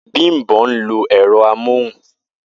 Bimpe ń lo ẹ̀rọ amóhùn